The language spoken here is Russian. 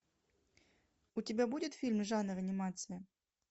у тебя будет фильм жанр анимация